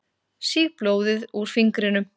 Sýg blóðið úr fingrinum.